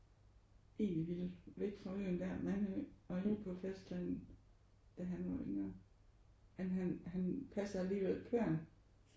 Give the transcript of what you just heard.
Egentlig ville væk fra øen der Mandø og ud på fastlandet da han var yngre men han men han passede alligevel kværn